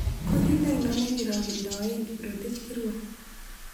Kutit ainon ne kirogendoen kiprotich kirwa